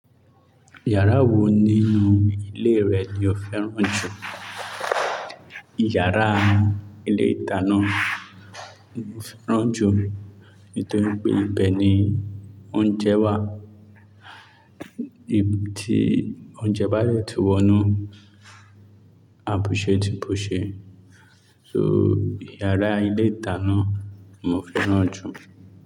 Yàrá wo nínú ilé rẹ ni o fẹ́ràn jù? Yàrá ilé-ìdánná mo fẹ́ràn jù nítorí pé ibẹ̀ ni oúnjẹ wà, tí oúnjẹ bá dẹ̀ tún wọnú, àbùsẹ́ tì bùṣe. So yàrá ilé-ìtánná mo fẹ́ràn jù.